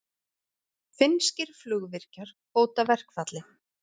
Finnskir flugvirkjar hóta verkfalli